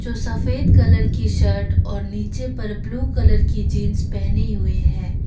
सफेद कलर की शर्ट और नीचे पर ब्लू कलर की जींस पहनी हुई है।